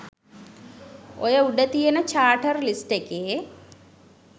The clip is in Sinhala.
ඔය උඩ තියෙන චාටර් ලිස්ට් එකේ